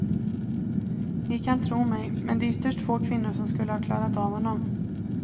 Ni kan tro mig, men det är ytterst få kvinnor som skulle ha klarat av honom.